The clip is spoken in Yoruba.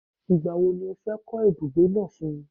Igba wo ni o fe ko ibugbe naa fun mi?